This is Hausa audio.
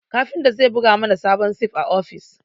Kafinta zai buga mana sabon sif a ofis